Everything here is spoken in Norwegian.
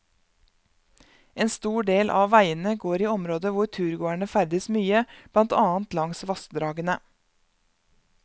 En stor del av veiene går i områder hvor turgåere ferdes mye, blant annet langs vassdragene.